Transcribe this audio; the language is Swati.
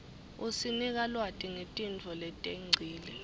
isinika lwati ngetintfo letengcile